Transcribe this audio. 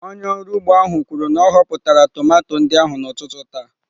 Onye ọrụ ugbo ahụ kwuru na ọ họpụtara tomato ndị ahụ n'ụtụtụ taa.